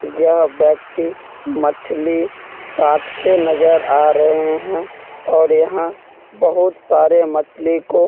यह व्यक्ति मछली काटते नज़र आ रहें हैं और यहाँ बहुत सारे मछली को --